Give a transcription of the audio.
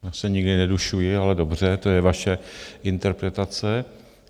Já se nikdy nedušuji, ale dobře, to je vaše interpretace.